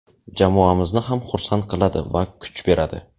jamoamizni ham xursand qiladi va kuch beradi!.